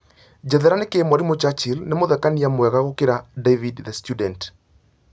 njerethera nĩkĩ mwarimũ Churchill nĩ mũthekania mwega gũkĩra david the student